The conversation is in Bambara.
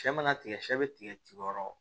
Sɛ mana tigɛ sɛbɛ be tigɛ ci yɔrɔ